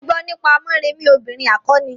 Mo gbo nípa Morèmi obìrin akọni.